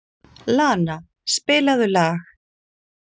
Lana, spilaðu lag.